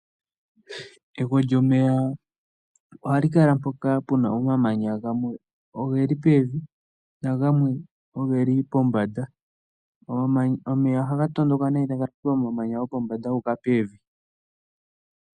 Egwo lyomeya oha li kala mpoka puna omamanya, gamwe ogeli pevi, nagamwe oge li pombada. Omeya oha ga tondoka nee tagazi pomamanya gopombada guuka pevi.